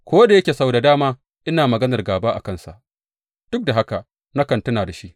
Ko da yake sau da dama ina maganar gāba a kansa, duk da haka nakan tuna da shi.